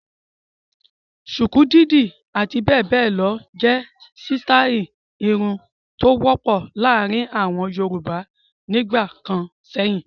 Ṣùkú, dídì àti bẹ́ẹ̀ bẹ́ẹ̀ lọ jẹ́ sítáálì irun tó wọ́pọ̀ láàárin àwọn Yorùbá nígbà kan sẹ́yìn.